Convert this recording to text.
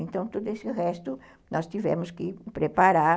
Então, todo esse resto nós tivemos que preparar.